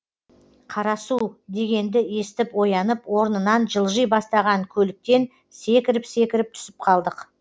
қарасу дегенді естіп оянып орнынан жылжи бастаған көліктен секіріп секіріп түсіп қалдық